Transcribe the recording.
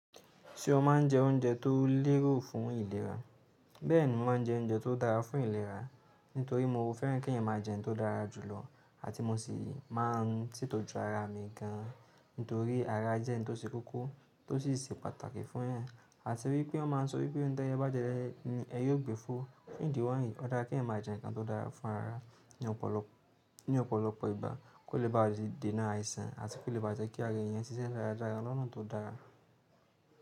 Ṣé o ma ń jẹ oúnjẹ tó lérò fún ìlera? Bẹ́ẹ̀ni, mo ma ń jẹ oúnjẹ tó dára fún ìlera nítorí mo fẹ́ràn kí n máa jẹ ohun tó dára jùlọ àti mo sì máa ń ṣètò ju ara mi gan an nítorí ara jẹ́ ohun tó ṣe kókó tó sì ṣe pàtàkì fún èèyàn. Nítorí wọ́n ma ń sọ wípé, òun tí ẹyẹ bá jẹ, ni ẹyẹ yóò gbé fò. Ní ìdíwọ̀n yìí, ó dára kí n máa jẹ nǹkan tó dára fún ara ní ọ̀pọ̀lọpọ̀ ìgbà, kó lè bá a ṣe dènà àìsàn àti kó lè bá a jẹ́ kí ara èèyàn ṣiṣẹ́ dáradára lọ́nà tó dára.